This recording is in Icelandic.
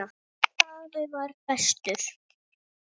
Afi var bestur.